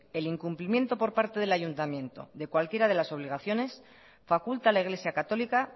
el incumplimiento por parte del ayuntamiento de cualquiera de las obligaciones faculta a la iglesia católica